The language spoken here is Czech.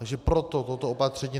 Takže proto toto opatření.